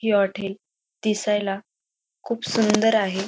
हे हॉटेल दिसायला खूप सुंदर आहे.